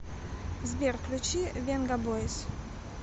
сбер включи венгабойс